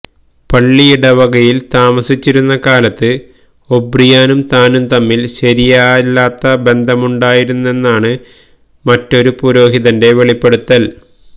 പള്ളിയിടവകയില് താമസിച്ചിരുന്ന കാലത്ത് ഒബ്രിയാനും താനും തമ്മില് ശരിയല്ലാത്ത ബന്ധ മുണ്ടായിരുന്നെന്നാണ് മറ്റൊരു പുരോഹിതന്റെ വെളിപ്പെടുത്തല്